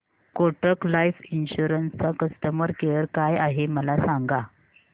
Kotak life insurance चा customer care काय आहे मला सांगा